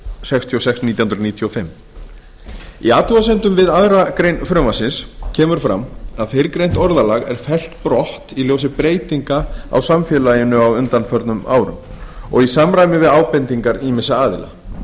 sextíu og sex nítján hundruð níutíu og fimm í athugasemdum við aðra grein frumvarpsins kemur fram að fyrrgreint orðalag er fellt brott í ljósi breytinga á samfélaginu á undanförnum árum og í samræmi við ábendingar ýmissa aðila